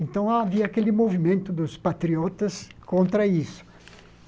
Então, havia aquele movimento dos patriotas contra isso.